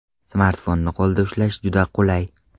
Smartfonni qo‘lda ushlash juda qulay.